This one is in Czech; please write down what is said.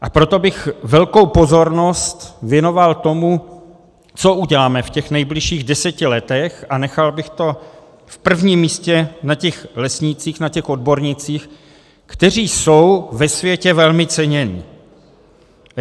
A proto bych velkou pozornost věnoval tomu, co uděláme v těch nejbližších deseti letech, a nechal bych to v prvním místě na těch lesnících, na těch odbornících, kteří jsou ve světě velmi ceněni.